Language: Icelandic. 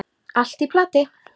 Allt í plati.